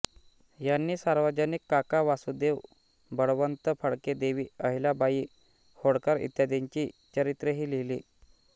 यांनी सार्वजनिक काका वासुदेव बळवंत फडके देवी अहिल्याबाई होळकर इत्यादींची चरित्रेही लिहिली